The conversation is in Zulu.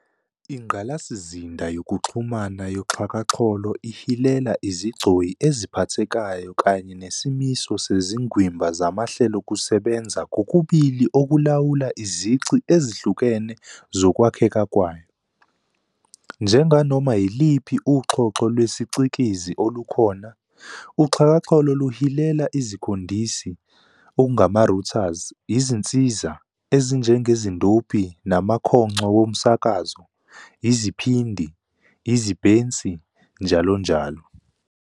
Ingqalasizinda yokuxhumana yoxhakaxholo ihilela izigcoyi eziphathekayo kanye nesimiso sezingwimba zamahlelokusebenza kokubili okulawula izici ezihlukene zokwakheka kwayo. Njenganoma yiliphi uxhoxho lwesiCikizi olukhona, uxhakaxholo luhilela izikhondisi "routers", izinsiza, ezinjengezindophi namakhongco womsakazo, iziphindi, izibhensi njll.